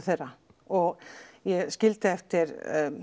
þeirra og ég skildi eftir